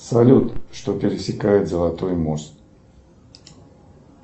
салют что пересекает золотой мост